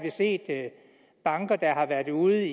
set banker der har været ude